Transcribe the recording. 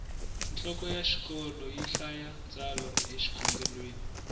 nhloko ya xikolo yi hlaya tsalwa e xikhongelweni